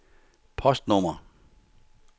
postnummer